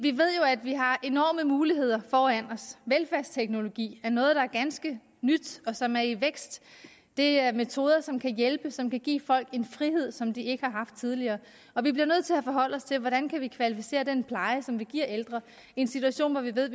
at vi har enorme muligheder foran os velfærdsteknologi er noget der er ganske nyt og som er i vækst det er metoder som kan hjælpe og som kan give folk en frihed som de ikke har haft tidligere og vi bliver nødt til at forholde os til hvordan man kan kvalificere den pleje som man giver ældre i en situation hvor vi ved at